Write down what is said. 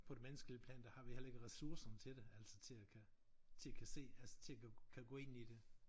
På det menneskelige plan der har vi heller ikke ressourcerne til det altså til at kan til at se altså til at kunne gå ind i det